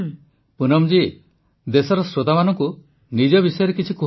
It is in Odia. ପ୍ରଧାନମନ୍ତ୍ରୀ ପୁନମ ଜୀ ଦେଶର ଶ୍ରୋତାମାନଙ୍କୁ ନିଜ ବିଷୟରେ କୁହନ୍ତୁ